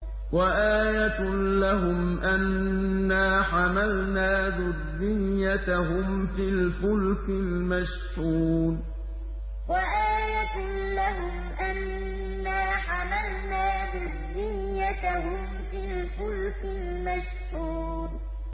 وَآيَةٌ لَّهُمْ أَنَّا حَمَلْنَا ذُرِّيَّتَهُمْ فِي الْفُلْكِ الْمَشْحُونِ وَآيَةٌ لَّهُمْ أَنَّا حَمَلْنَا ذُرِّيَّتَهُمْ فِي الْفُلْكِ الْمَشْحُونِ